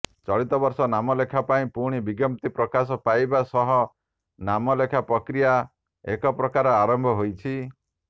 ଚଳିତବର୍ଷ ନାମଲେଖା ପାଇଁ ପୁଣି ବିଜ୍ଞପ୍ତି ପ୍ରକାଶ ପାଇବା ସହ ନାମ ଲେଖା ପ୍ରକ୍ରିୟା ଏକପ୍ରକାର ଆରମ୍ଭ ହୋଇଛି